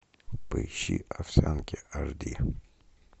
поищи овсянки аш ди